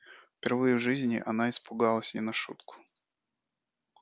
впервые в жизни она испугалась не на шутку